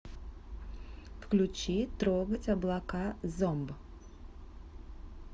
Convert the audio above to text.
включи трогать облака зомб